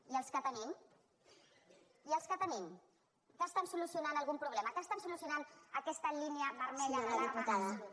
i els que tenim i els que tenim que estan solucionant algun problema que estan solucionant aquesta línia vermella d’alarma absoluta